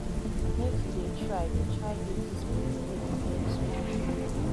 make you dey try dey try give dis pipo wey dey beg small moni